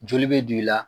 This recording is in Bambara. Joli bɛ don i la